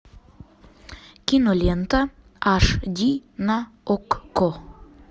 кинолента аш ди на окко